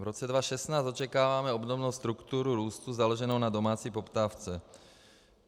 V roce 2016 očekáváme obdobnou strukturu růstu založenou na domácí poptávce.